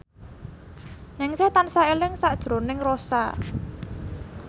Ningsih tansah eling sakjroning Rossa